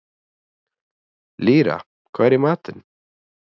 Lýra, hvað er í matinn?